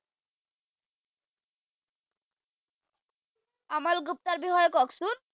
আমল গুপ্তাৰ বিষয়ে কওকচোন।